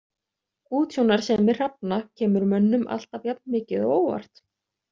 Útsjónarsemi hrafna kemur mönnum alltaf jafn mikið á óvart.